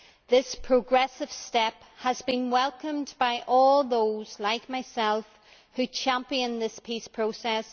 This progressive step has been welcomed by all those like myself who champion this peace process.